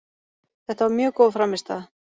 Þetta var mjög góð frammistaða